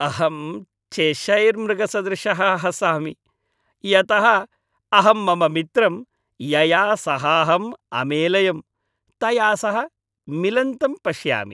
अहं चेशैर् मृगसदृशः हसामि, यतः अहं मम मित्रं, यया सहाहं अमेलयम्, तया सह मिलन्तं पश्यामि।